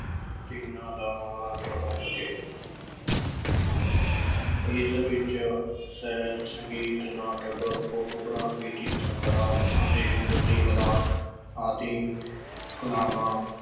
ਤਿੰਨਾਂ ਦਾ ਮਨੋਰੰਜਨ ਹੋ ਸਕੇ ਇਸ ਵਿੱਚ ਸਿਹਤ ਸੰਗੀਤ, ਨਾਟਕ photography ਚਿਤਰਕਲਾ ਅਤੇ ਮੂਰਤੀਕਲਾ ਆਦਿ ਕਲਾਵਾਂ